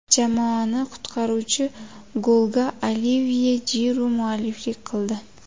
Jamoani qutqaruvchi golga Olivye Jiru mualliflik qildi.